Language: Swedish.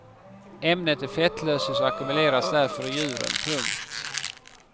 Ämnet är fettlösligt och ackumuleras därför i djuren. punkt